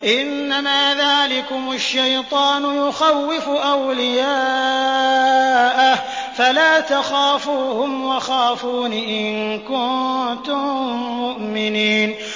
إِنَّمَا ذَٰلِكُمُ الشَّيْطَانُ يُخَوِّفُ أَوْلِيَاءَهُ فَلَا تَخَافُوهُمْ وَخَافُونِ إِن كُنتُم مُّؤْمِنِينَ